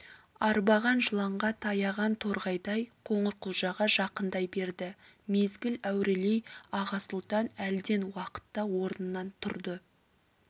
арбаған жыланға таяған торғайдай қоңырқұлжаға жақындай берді мезгіл әурелей аға сұлтан әлден уақытта орнынан тұрды